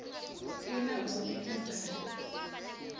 unawo umfundazate